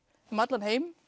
um allan heim